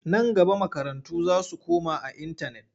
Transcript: Nan gaba makarantu za su koma a intanet.